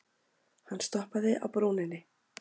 Hann stoppaði á brúninni.